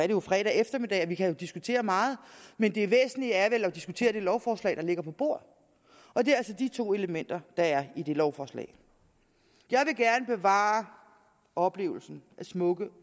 jo fredag eftermiddag og vi kan diskutere meget men det væsentlige er vel at diskutere det lovforslag der ligger på bordet og det er altså de to elementer der er i det lovforslag jeg vil gerne bevare oplevelsen af de smukke